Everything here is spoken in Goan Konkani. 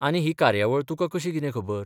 आनी ही कार्यावळ तुका कशी कितें खबर?